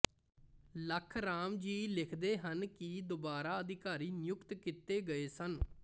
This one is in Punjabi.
ਲਖਰਾਮ ਜੀ ਲਿਖਦੇ ਹਨ ਕਿ ਦੁਬਾਰਾ ਅਧਿਕਾਰੀ ਨਿਯੁਕਤ ਕੀਤੇ ਗਏ ਸਨ